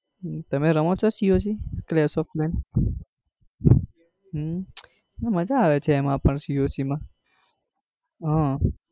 તમે રમો છો coc? ફ્લેશ ઓફ મેન્ટ હમ ના મજા આવે છે એમાં પણ coc માં આહ